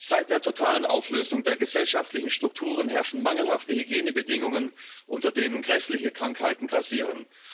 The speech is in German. Seit der totalen Auflösung der gesellschaftlichen Strukturen herrschen mangelhafte Hygienebedingungen, unter denen grässliche Krankheiten grassieren.